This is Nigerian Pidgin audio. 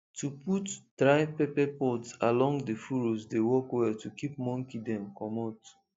to put dry pepper pods along the furrows dey work well to keep monkey dem comot